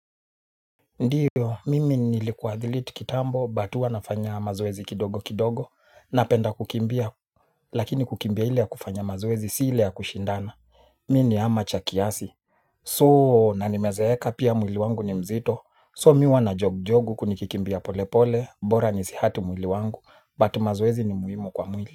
Ndiyo, mimi nilikuwa athlete kitambo, but huwa nafanya mazoezi kidogo kidogo, napenda kukimbia, lakini kukimbia ile ya kufanya mazoezi si ile ya kushindana, mi ni armature kiasi. So, na nimezeeka pia mwili wangu ni mzito, so mi huwa na jog-jog huku nikikimbia polepole, bora nisihurt mwili wangu, but mazoezi ni muhimu kwa mwili.